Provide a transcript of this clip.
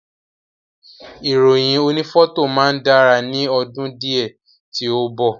Ìròyìn oni fọto máa dára ni ọdún diẹ ti o mbọ.